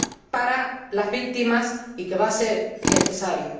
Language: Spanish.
para las víctimas y que va a ser necesario.